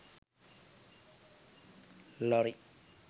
lorry